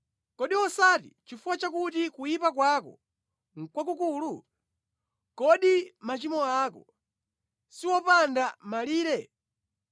Kodi osati nʼchifukwa chakuti kuyipa kwako nʼkwakukulu? Kodi machimo ako si opanda malire?